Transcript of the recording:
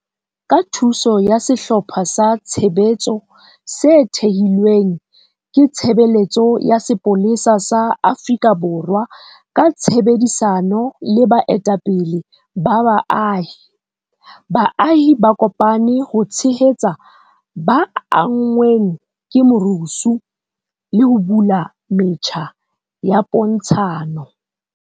Ka thuso ya sehlopha sa tshebetso se thehilweng ke Tshebeletso ya Sepolesa sa Afrika Borwa ka tshebedisano le baetapele ba baahi, baahi ba kopane ho tshehetsa ba anngweng ke merusu le ho bula metjha ya pontshano.